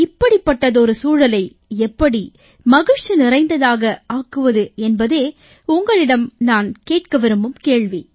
இப்படிப்பட்டதொரு சூழலை எப்படி மகிழ்ச்சி நிறைந்ததாக ஆக்குவது என்பதே உங்களிடம் நான் கேட்க விரும்பும் கேள்வி